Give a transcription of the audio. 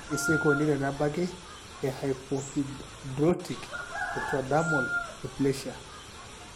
Kaji sa eikoni tenebaki ehypohidrotic ectodermal dysplasia?